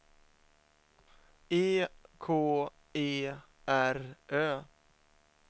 E K E R Ö